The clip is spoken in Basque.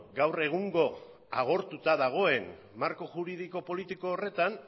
gaur egungo agortuta dagoen marko juridiko politiko horretan